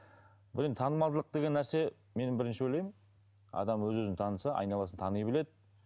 бұл енді танымалдылық деген нәрсе мен бірінші ойлаймын адам өз өзін таныса айналасын тани біледі